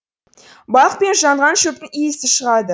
балық пен жанған шөптің иісі шығады